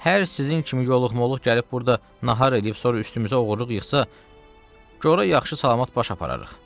Hər sizin kimi yoluq-moluq gəlib burda nahar eləyib, sonra üstümüzə oğurluq yıxsa, gora yaxşı-salamat baş apararıq.